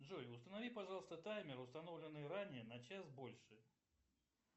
джой установи пожалуйста таймер установленный ранее на час больше